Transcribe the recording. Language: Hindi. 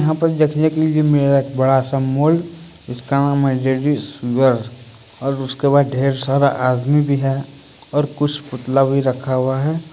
यहां पे देख के लिए मिलेगा डेड सारा मॉल और उसके बाद ढेर सारा आदमी भी है और कुछ पुतला भी रखा हुआ है।